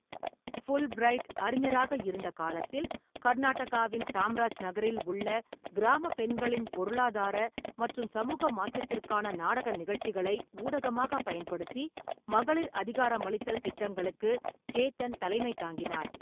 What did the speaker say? Fulbright அறிஞராக இருந்த காலத்தில், கர்நாடகாவின் சாம்ராஜ்நகரில் உள்ள கிராம பெண்களின் பொருளாதார மற்றும் சமூக மாற்றத்திற்காக நாடக நிகழ்ச்சிகளை ஊடகமாக பயன்படுத்தி மகளிர் அதிகாரமளித்தல் திட்டங்களுக்கு சேத்தன் தலைமை தாங்கினார்.